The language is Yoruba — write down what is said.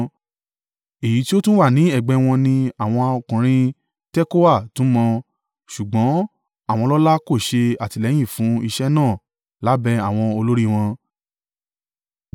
Èyí tí ó tún wà ní ẹ̀gbẹ́ wọn ni àwọn ọkùnrin Tekoa tún mọ, ṣùgbọ́n àwọn ọlọ́lá kò ṣe àtìlẹ́yìn fún iṣẹ́ náà lábẹ́ àwọn olórí wọn.